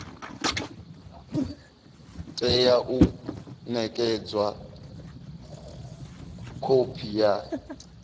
tea u nekedzwa khophi ya